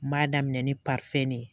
N m'a daminɛ nin ne ye.